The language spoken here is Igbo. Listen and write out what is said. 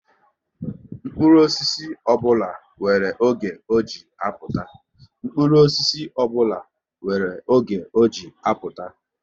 Mkpụrụ osisi ọbụla nwere oge ọ ji apụta